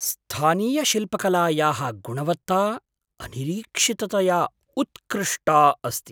स्थानीयशिल्पकलायाः गुणवत्ता अनिरीक्षिततया उत्कृष्टा अस्ति।